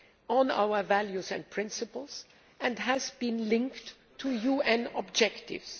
on our values and principles and has been linked to UN objectives.